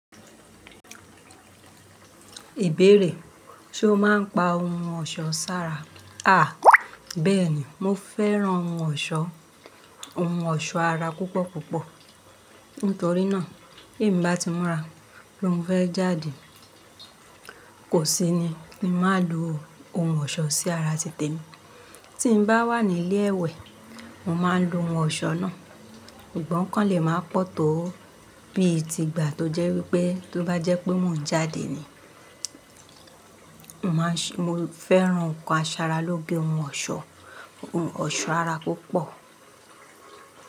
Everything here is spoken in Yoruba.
Ìbéèrè, ṣe o máa ń pa ohun ọ̀ṣọ́ sára? Bẹ́ẹ̀ni, mo fẹ́ran ohun ọ̀ṣọ́, ohun ọ̀ṣọ́ ara púpọ̀ púpọ̀. Nítorí náà, ti emi bá ti mura, pe mo fẹ́ jáde, kò sí ni kí n máa lo ohun ọ̀ṣọ́ sí ara títèmi. Tí n bá wà ní ilé ẹwẹ̀, mo máa ń lo ohun ọ̀ṣọ́ náà. Sugbọ́ǹ o kan lè máa pọ̀ tó bí i ti gbà tó jẹ́ wípé tó bá jẹ́ pé mo ń jáde ni. Mo fẹ́ran nǹkan asaralóge ohun ọ̀ṣọ́, ohun ọ̀ṣọ́ ara púpọ̀